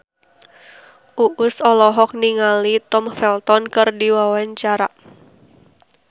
Uus olohok ningali Tom Felton keur diwawancara